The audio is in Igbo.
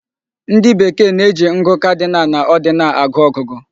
Ndị Bekee na-eji ngụ cardinal na ordinal agụ ọgụgụ.